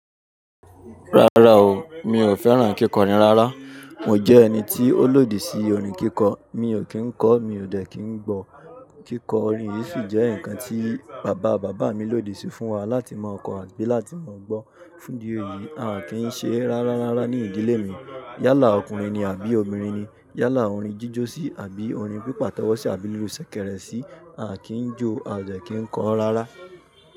Rárá o, mi ò fẹ́ràn kíkọrin rárá. Mò jẹ́ ẹni tí ó lòdì sí orin kíkọ. Mi ò kí ń kọ mi ò dẹ̀ kí ń gbọ́. Kíkọ orin yìí sì jẹ́ nǹkan tí bàbá bàbá mi lòdì sí fún wa láti mọ̀ kọ́ àbí láti mọ̀ gbọ́. Fún di èyí, a kì í ṣe rárá rárá ní ìdílé mi. Yálà ọkùnrin ni àbí obìnrin ni, yálà orin jíjósí àbí orin pípàtọ́wọ́sí àbí lórí ìṣẹ̀kẹ̀rẹ̀ sí, a kì í jó, a ò dẹ̀ kí ń kọ rárá.